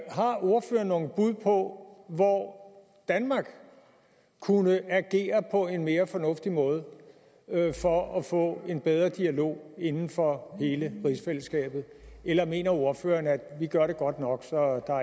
har ordføreren nogle bud på hvor danmark kunne agere på en mere fornuftig måde for at få en bedre dialog inden for hele rigsfællesskabet eller mener ordføreren at vi gør det godt nok så der